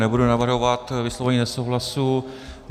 Nebudeme navrhovat vyslovení nesouhlasu.